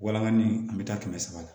Walanga ni an bɛ taa kɛmɛ sara la